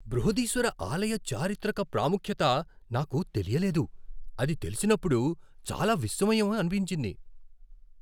బృహదీశ్వర ఆలయ చారిత్రక ప్రాముఖ్యత నాకు తెలియలేదు, అది తెలిసినప్పుడు చాలా విస్మయం అనిపించింది.